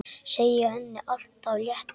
Segja henni allt af létta.